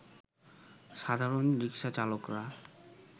সাধারণ রিকশাচালকরা